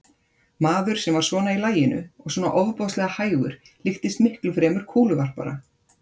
Maður sem var svona í laginu og svona ofboðslega hægur líktist miklu fremur kúluvarpara.